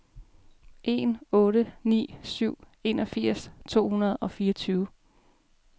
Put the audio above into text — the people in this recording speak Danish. en otte ni syv enogfirs to hundrede og fireogtyve